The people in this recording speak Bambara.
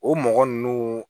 O mɔgɔ ninnu